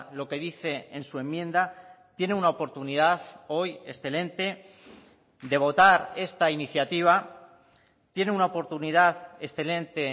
lo que dice en su enmienda tiene una oportunidad hoy excelente de votar esta iniciativa tiene una oportunidad excelente